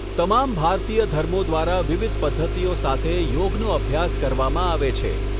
તમામ ભારતીય ધર્મો દ્વારા વિવિધ પદ્ધતિઓ સાથે યોગનો અભ્યાસ કરવામાં આવે છે.